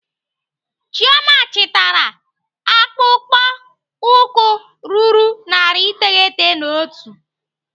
Chioma chitara akpụkpọ ụkwụ ruru narị iteghete na otu.